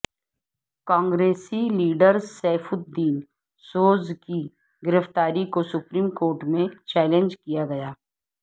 کانگریسی لیڈرسیف الدین سوزکی گرفتاری کو سپریم کورٹ میں چیلنج کیاگیا